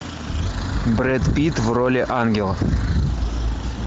брэд питт в роли ангела